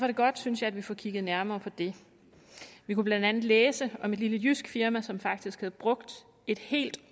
det godt synes jeg at vi får kigget nærmere på det vi kunne blandt andet læse om et lille jysk firma som faktisk havde brugt et helt